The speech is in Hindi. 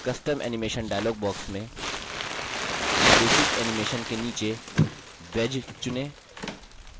custom animation dialog box में basic animation के नीचे wedge चुनें